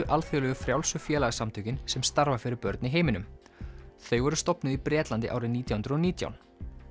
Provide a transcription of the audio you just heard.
alþjóðlegu frjálsu félagasamtökin sem starfa fyrir börn í heiminum þau voru stofnuð í Bretlandi árið nítján hundruð og nítján